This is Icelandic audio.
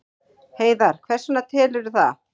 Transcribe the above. Heiðar: Hvers vegna telurðu það?